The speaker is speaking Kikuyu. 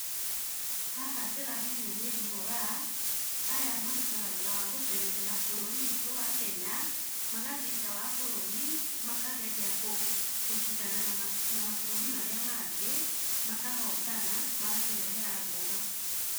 Haha ndĩramenya Mary Moraa, aya marutaga wĩra wa gũteng'erera bũrũri witũ wa kenya. magathiĩ nja wa bũrũri makageria gũcĩdana na mabũrũri marĩa mangĩ, makahotana magatũrehera ngoga.